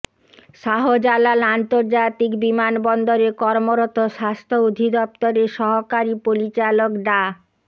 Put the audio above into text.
শাহজালাল আন্তর্জাতিক বিমানবন্দরে কর্মরত স্বাস্থ্য অধিদপ্তরের সহকারী পরিচালক ডা